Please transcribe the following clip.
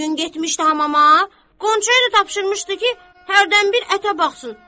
Bu gün getmişdi hamama, Qonçaya da tapşırmışdı ki, hərdən bir ətə baxsın.